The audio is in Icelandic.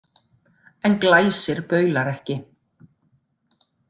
En Glæsir baular ekki.